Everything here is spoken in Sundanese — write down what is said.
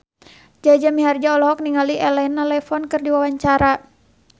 Jaja Mihardja olohok ningali Elena Levon keur diwawancara